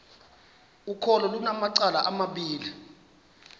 ukholo lunamacala amabini